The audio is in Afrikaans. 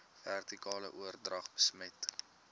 vertikale oordrag besmet